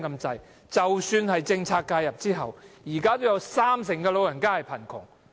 即使政策介入後，現在仍有三成長者處於貧窮。